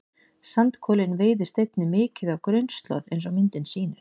Sandkolinn veiðist einnig mikið á grunnslóð eins og myndin sýnir.